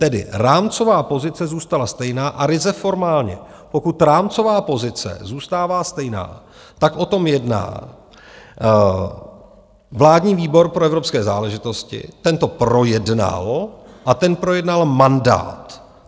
Tedy rámcová pozice zůstala stejná, a ryze formálně, pokud rámcová pozice zůstává stejná, tak o tom jedná vládní výbor pro evropské záležitosti, ten to projednal a ten projednal mandát.